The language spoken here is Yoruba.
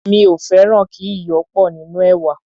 mí ò fẹràn kí iyò pò nínú èwà.